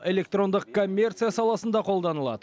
электрондық коммерция саласында қолданылады